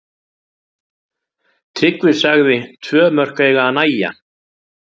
Tryggvi sagði tvö mörk eiga að nægja.